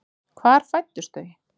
Hvar fæddust þau?